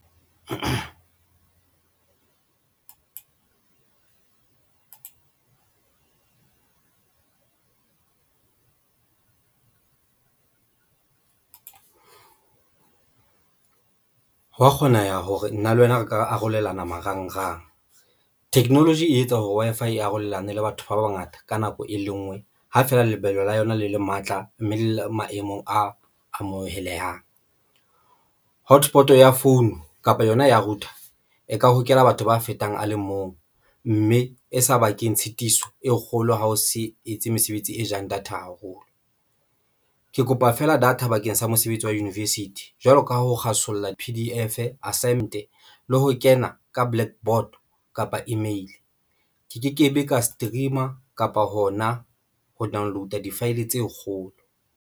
Hwa kgoneha hore nna le wena re ka arolelana marangrang technology e etsa hore Wi-Fi e arolelane le batho ba bangata ka nako e le ngwe, ha feela lebelo la yona le le matla mme le le maemong a amohelehang hotspot ya phone kapa yona ya router e ka hokela batho ba fetang a le mong mme e sa bakeng tshitiso e kgolo. Ha o se etse mesebetsi e jang data haholo, ke kopa fela data bakeng sa mosebetsi wa university jwalo ka ho kgwasolla P_D_F le ho kena ka blackboard kapa email. Ke ke ke be ka stream-a kapa hona ho download-a di-file tse kgolo.